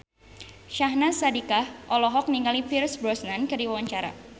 Syahnaz Sadiqah olohok ningali Pierce Brosnan keur diwawancara